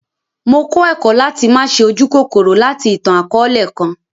Mó kọ ẹkọ̀ lati ma ṣe ójukòkòrò lati ìtan-àkọọlẹ kan.